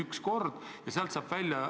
Kas sellest on juttu olnud?